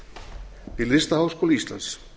handverksdeild við listaháskóla íslands